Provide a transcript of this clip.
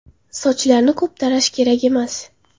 Sochlarni ko‘p tarash kerak emas.